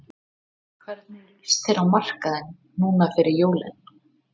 Hvernig lýst þér á markaðinn núna fyrir jólin?